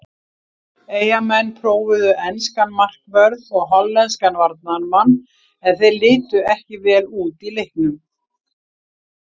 Eyjamenn prófuðu enskan markvörð og hollenskan varnarmann en þeir litu ekki vel út í leiknum.